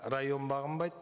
район бағынбайды